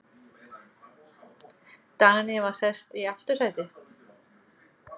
Dagný var sest í aftursætið.